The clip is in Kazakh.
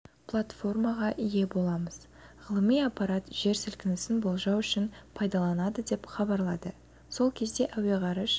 платформаға ие боламыз ғылыми аппарат жер сілкінісін болжау үшін пайдаланылады деп хабарлады сол кезде әуеғарыш